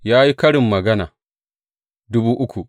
Ya yi karin magana dubu uku.